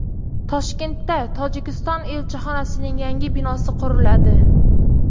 Toshkentda Tojikiston elchixonasining yangi binosi quriladi.